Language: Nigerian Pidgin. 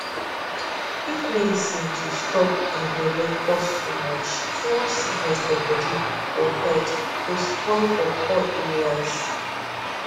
if medicine to stop um belle cost too much too much sickness for body or health go spoil for poor areas